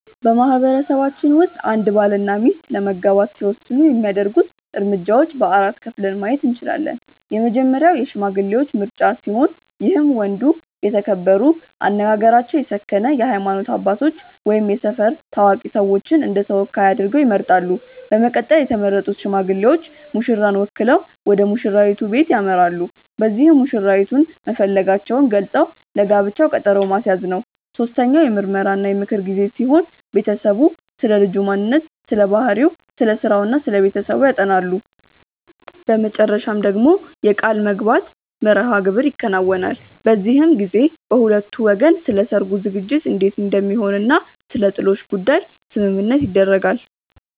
በማህበረሰባችን ውስጥ አንድ ባል እና ሚስት ለመጋባት ሲወስኑ የሚያደርጉት እርምጃዎች በ4 ከፍለን ማየት እንችላለን። የመጀመሪያው የሽማግሌዎች ምርጫ ሲሆን ይህም ወንዱ የተከበሩ፣ አነጋገራቸው የሰከነ የሃይማኖት አባቶች ወይም የሰፈር ታዋቂ ሰዎችን እንደተወካይ አድርገው ይመርጣሉ። በመቀጠልም የተመረጡት ሽማግሌዎች ሙሽራን ወክለው ወደሙሽራይቱ በለት ያመራሉ። በዚህም መሽራይቱን መፈለጋቸውን ገልፀው ለጋብቻው ቀጠሮ ማስያዝ ነው። ሶስተኛው የምርመራ እና የምክር ጊዜ ሲሆን ቤተሰቡ ስለልጁ ማንነት ስለባህሪው፣ ስለስራው እና ስለቤተሰቡ ያጠናሉ። በመጨረሻ ደግሞ የቃልምግባት መርሐግብር ይከናወናል። በዚህም ጊዜ በሁለቱ ወገን ስለሰርጉ ዝግጅት እንዴት እንደሚሆን እና ስለጥሎሽ ጉዳይ ስምምነት ይደረጋል።